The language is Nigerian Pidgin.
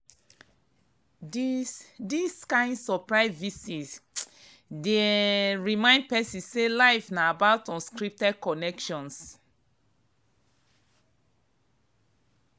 dis dis kain surprise visit dey um remind person say life na about unscripted connections.